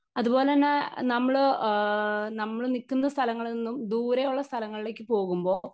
Speaker 1 അതുപോലെ തന്നെ നമ്മള് ആ നമ്മള് നിക്കുന്ന സ്ഥലങ്ങളിൽ നിന്നും ദൂരെയുള്ള സ്ഥലങ്ങളിലേക്ക് പോകുമ്പോ.